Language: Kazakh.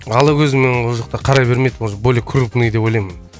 ала көзімен ол жақта қарай бермейді уже более крупный деп ойлаймын